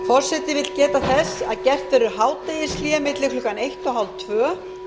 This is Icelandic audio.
forseti vill geta þess að gert verður hádegishlé milli klukkan eitt og hálftvö